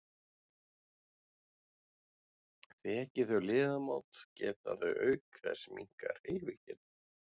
Þeki þau liðamót geta þau auk þess minnkað hreyfigetu.